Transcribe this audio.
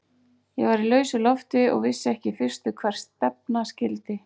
Ég var í lausu lofti og vissi ekki í fyrstu hvert stefna skyldi.